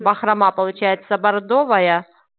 бахрома получается бордовая